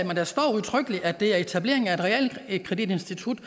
men der står udtrykkeligt at det er etableringen af et realkreditinstitut